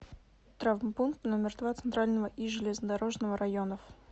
травмпункт номер два центрального и железнодорожного районов